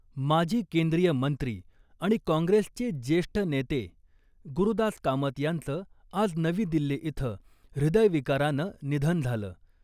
माजी केंद्रीय मंत्री आणि काँग्रेसचे ज्येष्ठ नेते गुरूदास कामत यांचं आज नवी दिल्ली इथं हृदयविकारानं निधन झालं.